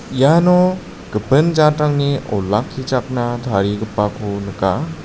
iano gipin jatrangni olakkichakna tarigipako nika.